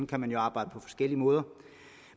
kan man jo arbejde på forskellige måder